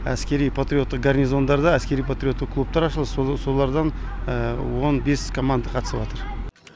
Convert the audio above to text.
әскери патриоттық гарнизондарда әскери патриоттық клубтар ашылды солардан он бес команда қатысып атыр